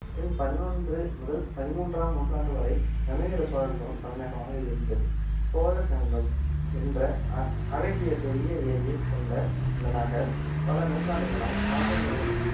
பின் பதினொன்று முதல் பதிமூன்றாம் நூற்றாண்டு வரை கங்கை கொண்ட சோழபுரம் தலைநகரமாக இருந்தது சோழகங்கம் என்ற அ~ அழகிய பெரிய ஏரியை கொண்ட இந்த நகர் பல நூற்றாண்டுகளாய் ராஜேந்திரன்